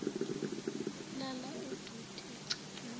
lala udoti egcekeni